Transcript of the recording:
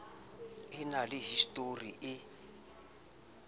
e na le histori e